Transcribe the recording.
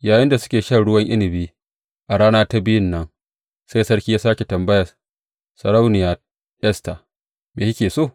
Yayinda suke shan ruwan inabi a rana ta biyun nan, sai sarki ya sāke tambaya, Sarauniya Esta, me kike so?